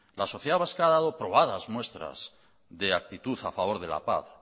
la sociedad vasca ha dado muestras de actitud a favor de la paz